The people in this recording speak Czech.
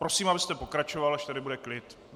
Prosím, abyste pokračoval, až tady bude klid.